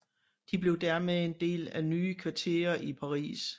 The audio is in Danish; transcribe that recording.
De blev dermed en del af nye kvarterer i Paris